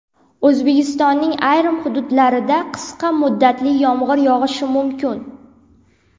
O‘zbekistonning ayrim hududlarida qisqa muddatli yomg‘ir yog‘ishi mumkin.